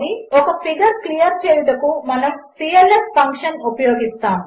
ఒకఫిగర్క్లియర్చేయుటకుమనముclf ఫంక్షన్ఉపయోగిస్తాము